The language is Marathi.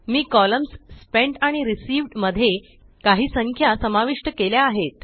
मी कॉलम्स स्पेंट आणि रिसीव्ह्ड मध्ये काही संख्या समाविष्ट केल्या आहेत